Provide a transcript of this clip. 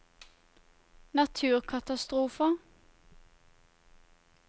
naturkatastrofer